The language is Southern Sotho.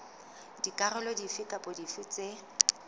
dikarolo dife kapa dife tse